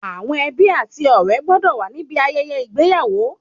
Àwọn ẹbí ati ọ̀rẹ́ gbọ́dọ̀ wa níbi ayẹyẹ ìgbéyàwó